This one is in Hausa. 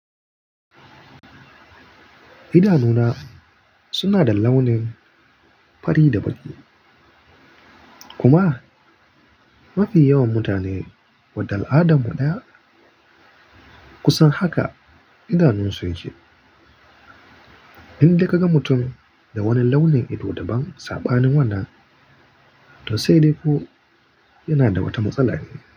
Idanuna suna da launin fari da baƙi. Kuma mafi yawan mutane wadda al'adar mu ɗaya, kusan haka idanun su yake. In ka ga mutum da wani launin ido daban saɓanin wannan, to sai dai ko yana da wata matsala ne.